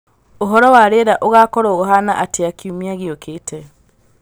ūhoro wa rīera ūgakorwo ūhana atia kiumia gīūkīte